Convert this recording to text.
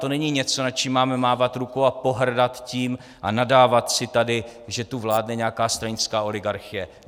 To není něco, nad čím máme mávat rukou a pohrdat tím a nadávat si tady, že tu vládne nějaká stranická oligarchie.